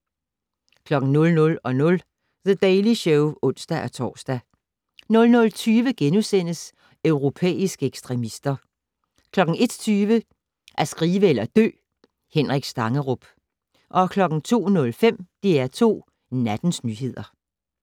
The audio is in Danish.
00:00: The Daily Show (ons-tor) 00:20: Europæiske ekstremister * 01:20: At skrive eller dø - Henrik Stangerup 02:05: DR2 Nattens nyheder